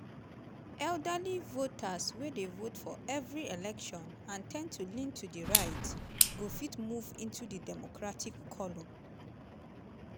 elderly voters wey dey vote for every election and ten d to lean to di right go fit move into di democratic column?